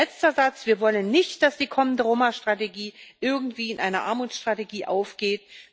Letzter Satz Wir wollen nicht, dass die kommende Roma Strategie irgendwie in einer Armutsstrategie aufgeht.